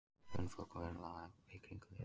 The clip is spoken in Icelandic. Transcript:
Ég er hundfúll og við erum það öll í kringum liðið.